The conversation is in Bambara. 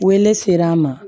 Weleser'a ma